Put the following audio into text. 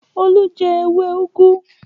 Olú jẹ ewé úgú?